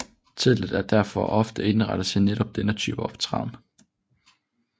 Teltet er derfor ofte indrettet til netop denne type optræden